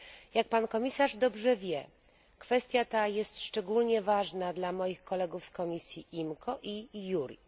Jak pan komisarz dobrze wie, kwestia ta jest szczególnie ważna dla moich kolegów z Komisji IMCO i JURI.